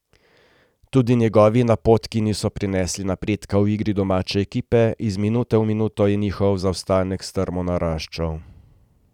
Tudi njegovi napotki niso prinesli napredka v igri domače ekipe, iz minute v minuto je njihov zaostanek strmo naraščal.